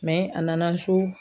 mɛ a nana so